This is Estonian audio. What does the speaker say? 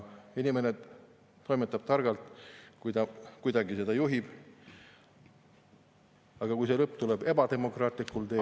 Inimene toimetab targalt, kui ta kuidagi seda juhib, aga kui see lõpp tuleb ebademokraatlikul teel …